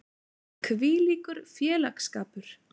Hvílíkur félagsskapur.